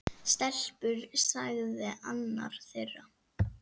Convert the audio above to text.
Stelpur sagði annar þeirra.